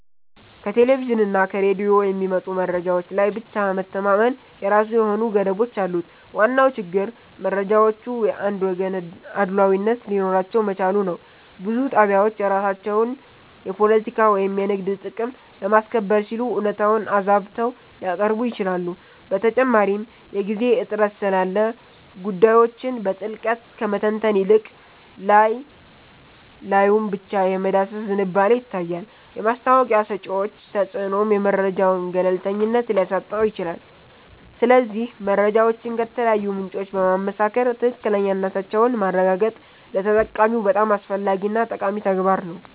ከቴሌቪዥንና ከሬዲዮ የሚመጡ መረጃዎች ላይ ብቻ መተማመን የራሱ የሆኑ ገደቦች አሉት። ዋናው ችግር መረጃዎቹ የአንድ ወገን አድሏዊነት ሊኖራቸው መቻሉ ነው። ብዙ ጣቢያዎች የራሳቸውን የፖለቲካ ወይም የንግድ ጥቅም ለማስከበር ሲሉ እውነታውን አዛብተው ሊያቀርቡ ይችላሉ። በተጨማሪም የጊዜ እጥረት ስላለ ጉዳዮችን በጥልቀት ከመተንተን ይልቅ ላይ ላዩን ብቻ የመዳሰስ ዝንባሌ ይታያል። የማስታወቂያ ሰጪዎች ተጽዕኖም የመረጃውን ገለልተኝነት ሊያሳጣው ይችላል። ስለዚህ መረጃዎችን ከተለያዩ ምንጮች በማመሳከር ትክክለኛነታቸውን ማረጋገጥ ለተጠቃሚው በጣም አስፈላጊና ጠቃሚ ተግባር ነው